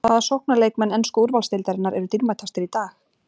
Hvaða sóknarleikmenn ensku úrvalsdeildarinnar eru dýrmætastir í dag?